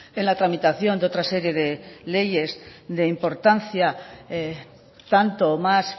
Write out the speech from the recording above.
en la tramitación de otra serie de leyes de importancia tanto o más